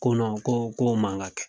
Ko ko k'o man ka kɛ.